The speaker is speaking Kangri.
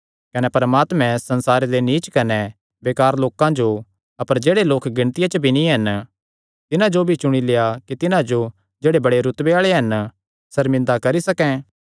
कने परमात्मैं संसारे दे नीच कने बेकार लोकां जो अपर जेह्ड़े लोक गिणतियां च भी नीं हन तिन्हां जो भी चुणी लेआ कि तिन्हां जो जेह्ड़े बड़े रुतबे आल़े हन सर्मिंदा करी सकैं